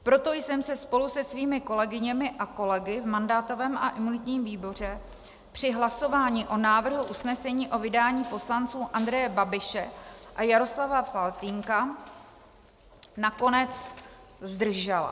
Proto jsem se spolu se svými kolegyněmi a kolegy v mandátovém a imunitním výboru při hlasování o návrhu usnesení o vydání poslanců Andreje Babiše a Jaroslava Faltýnka nakonec zdržela.